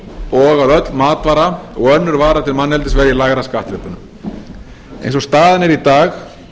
og að öll matvara og önnur vara til manneldis verði í lægra skattþrepi eins og staðan er í dag